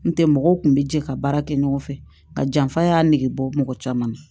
N tɛ mɔgɔw kun bɛ jɛ ka baara kɛ ɲɔgɔn fɛ ka janfa y'a negebɔ mɔgɔ caman na